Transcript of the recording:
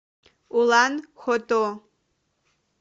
улан хото